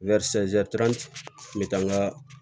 kun bɛ taa n ka